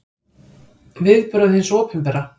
Viðbrögð hins opinbera